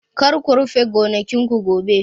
Kar ku rufe gonakin ku gobe!